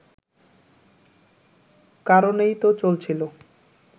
কারণেই তো চলছিল